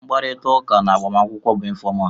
Mkparịtaụka na agbamakwụkwọ bụ ịnfọmal.